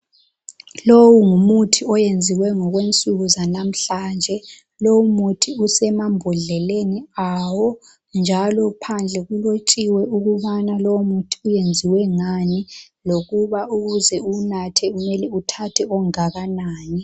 Lowu ngumuthi oyenziwe ngokwensuku zanamhlanje. Lowu muthi usemambodleleni awo, njalo phandle kulotshiwe ukubana wenziwe ngani lokubana ukuze uwunathe kumele uthathe ongakanani.